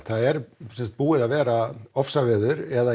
það er búið að vera ofsaveður eða